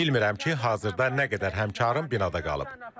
Bilmirəm ki, hazırda nə qədər həmkarım binada qalıb.